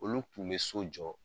Olu kun be so jɔ